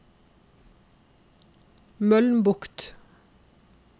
Mølnbukt